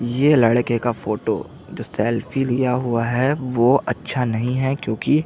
ये लड़का के फोटो जो सेल्फ लिए हुआ है वो अच्छा नहीं है जोकि--